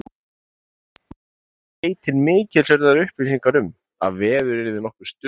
Einnig gáfu skeytin mikilsverðar upplýsingar um, að veður yrði nokkuð stöðugt.